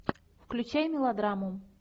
включай мелодраму